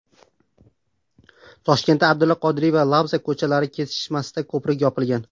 Toshkentda Abdulla Qodiriy va Labzak ko‘chalari kesishmasidagi ko‘prik yopilgan.